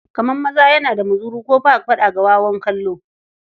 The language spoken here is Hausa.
Kamar maza yana ga muzuru, ko ba faɗa da wawan kallo.